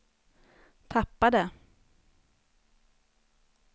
tappade